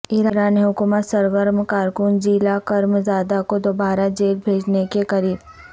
ایران حکومت سرگرم کارکن جیلا کرم زادہ کو دوبارہ جیل بھیجنے کے قریب